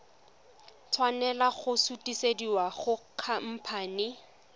tshwanela go sutisediwa go khamphane